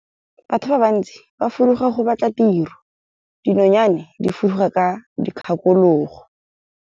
Batho ba bantsi ba fuduga go batla tiro, dinonyane di fuduga ka dikgakologo.